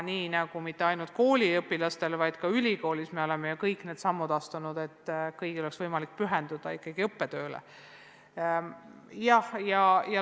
Me oleme mitte ainult kooliõpilaste, vaid ka üliõpilaste puhul ju astunud need sammud, et kõigil oleks võimalik ikkagi õppetööle pühenduda.